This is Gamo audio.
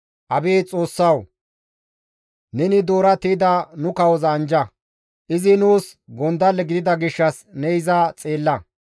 Abeet Xoossawu! Neni doora tiyda nu kawoza anjja; izi nuus gondalle gidida gishshas ne iza xeella.